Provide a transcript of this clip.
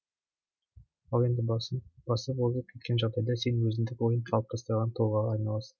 ал енді басып озып кеткен жағдайда сен өзіндік ойын қалыптастырған тұлғаға айналасың